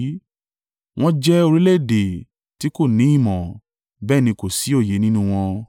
Wọ́n jẹ́ orílẹ̀-èdè tí kò ní ìmọ̀, bẹ́ẹ̀ ni kò sí òye nínú wọn.